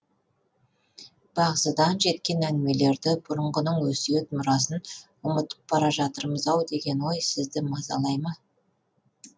бағзыдан жеткен әңгімелерді бұрынғының өсиет мұрасын ұмытып бара жатырмыз ау деген ой сізді мазалай ма